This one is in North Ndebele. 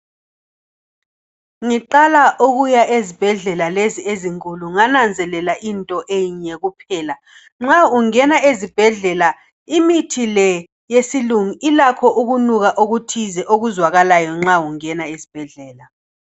Ngiqala ukuya ezibhendlela lezi ezinkulu ngananzelela into enye kuphela. Nxa ungena ezibhendlela imithi le yesilungu ilakho ukunuka kuthize okuzwakalayo nxa ungena ezibhendlela.